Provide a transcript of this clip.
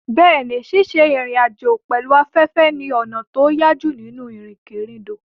Bẹ́ẹ̀ni, ṣíṣe ìrìn àjò pẹ̀lú afẹ́fẹ́ ni ọ̀nà tó yájú nínú ìrìnkèrindò.